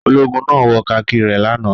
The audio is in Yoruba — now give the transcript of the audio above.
Ológun náà wọ kakí rẹ̀ lánàá.